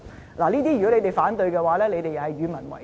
如果這些他們也反對的話，他們便是與民為敵。